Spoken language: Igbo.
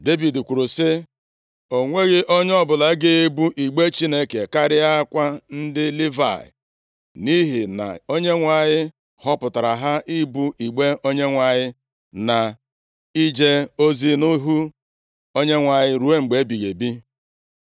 Devid kwuru sị, “O nweghị onye ọbụla ga-ebu igbe Chineke karịakwa ndị Livayị, nʼihi na Onyenwe anyị họpụtara ha ibu igbe Onyenwe anyị na ije ozi nʼihu Onyenwe anyị ruo mgbe ebighị ebi.”